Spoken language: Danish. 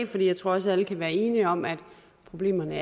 for jeg tror også at alle kan være enige om at problemerne